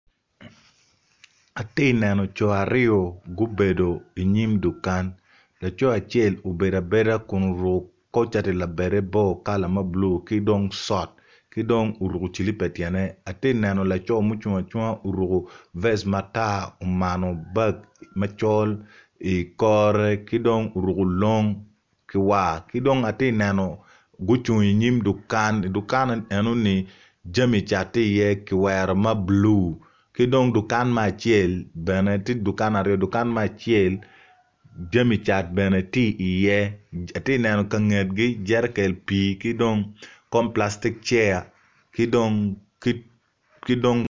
Ati neno co aryo ma gubedo inyim dukan laco acel obedo abedo kun oruku bongo cati labade bor kala ma bulu ki dong cot ki dong oruku cilipa ityene ati neno laco ma ocung acung ti oruku vec matar omano bag macol i kore ki dong oruku long ki war ki dong ati neno gucung inyim dukan dukan-ni enoni jami cat ti iye ki wero ma bulu ki dong dukan me acel dukan tye aryo dukan me acel jami cat bene ti iye ati neno ka ngetgi jerekel pii ki dong kom palastic chair ki dong